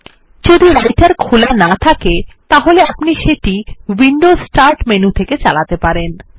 যদি রাইটের খোলা না থাকে তাহলে আপনি সেটি উইন্ডোজ স্টার্ট মেনু থেকে চালাতে পারেন